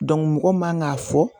mɔgɔ man k'a fɔ